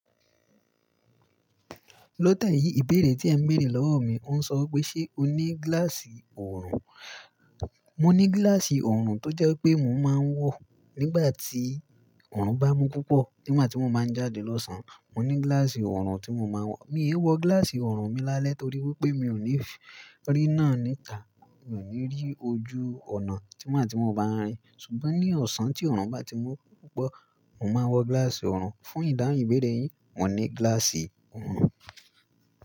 Lọ́ te yìí ìbéèrè tí ẹ ń bèèrè lọ́wọ́ mi o ń sọ wi pé ṣe o ní gíláàsì ọ̀rùn? Mo ní gíláàsì ọ̀rùn tó jẹ́ pé mo máa ń wọ̀ nígbà tí ọ̀rùn bá mú púpọ̀, nigba ti mo bá ń jáde lọ́sàn-án. Mo ní gíláàsì ọ̀rùn tí mo máa ń wọ̀. Mi ò wọ gíláàsì ọ̀rùn mi lálẹ́ torí wípé mi ò ní ríná ní ìta, mi ò ní rí ojú ọnà nigba ti mo bá ń rin. Ṣùgbọ́n ní ọ̀sán tí ọ̀rùn bá ti mú púpọ̀, mo máa n wọ gíláàsì ọ̀rùn. Fún ìdáhùn ìbéèrè yìí, mo ní gíláàsì ọ̀rùn.